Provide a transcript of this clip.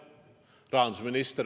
Vastus on jah.